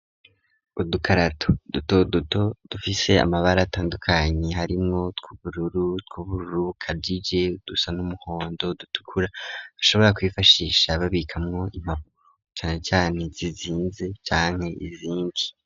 Udukarato duto duto dufise amabara atandukanye, harimwo tw'ubururu, tw'ubururu ukajije, dusa n'umuhondo, dutukura, ushobora kwifashisha babikamwo impapuro, cane cane zizinze canke izindi.